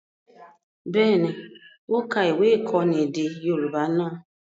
Bẹ́ẹ̀ni, ó ka ìwé-ìkọ́ni èdè Yorùbá náà.